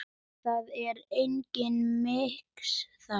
Það er engin miskunn þarna.